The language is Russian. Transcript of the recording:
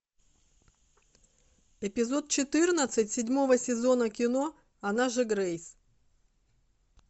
эпизод четырнадцать седьмого сезона кино она же грейс